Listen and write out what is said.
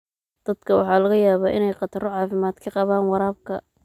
Dadka waxaa laga yaabaa inay khataro caafimaad ka qabaan waraabka.